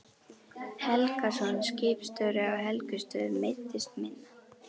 Helgason, skipstjóri á Helgustöðum, meiddist minna.